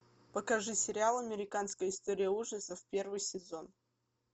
покажи сериал американская история ужасов первый сезон